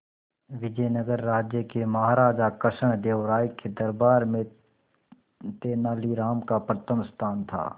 विजयनगर राज्य के महाराजा कृष्णदेव राय के दरबार में तेनालीराम का प्रथम स्थान था